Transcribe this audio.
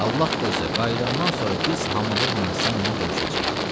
Allah qoysa, qayıdandan sonra biz hamılıqla səninlə görüşəcəyik.